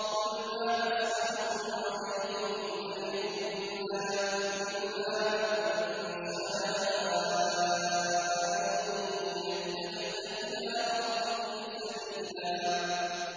قُلْ مَا أَسْأَلُكُمْ عَلَيْهِ مِنْ أَجْرٍ إِلَّا مَن شَاءَ أَن يَتَّخِذَ إِلَىٰ رَبِّهِ سَبِيلًا